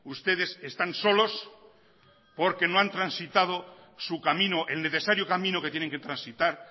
ustedes están solos porque no han transitado su camino el necesario camino que tienen que transitar